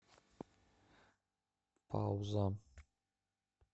пауза